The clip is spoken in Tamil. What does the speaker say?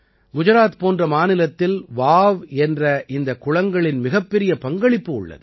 குஜராத் போன்ற மாநிலத்தில் வாவ் என்ற இந்த குளங்களின் மிகப்பெரிய பங்களிப்பு உள்ளது